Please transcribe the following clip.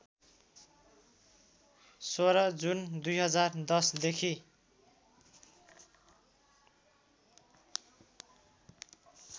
१६ जुन २०१० देखि